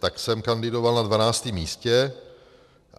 Tak jsem kandidoval na 12. místě.